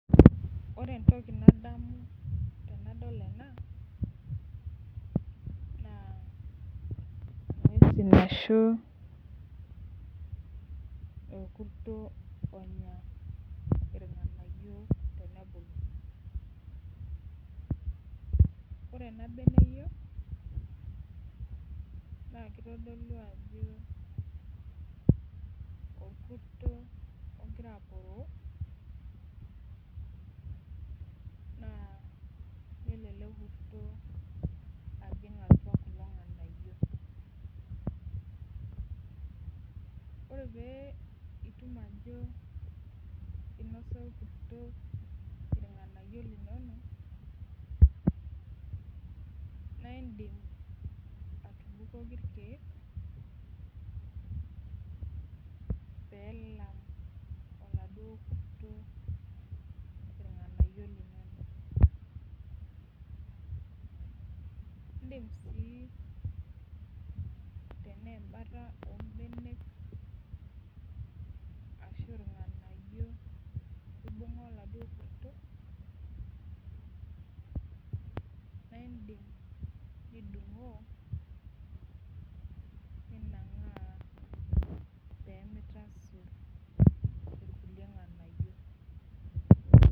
Ore entoki nadamu tenadol ena naa enkurto nanya irng'anayio tenibulu ore ena mbeneyio naa kitodolu Ajo orkurto ogira aporoo nelo ele kurto ajig atua kulo nganayio ore pitum Ajo enosa orkurto irng'anayio linono naidim atubukoki irkeek pee elam oladuo kurto irng'anayio linio edim sii tene embaata oo mbenek ashu irng'anayio eibunga oladuo kurto naidim nidhngoo pee mitasur irkulie nganayio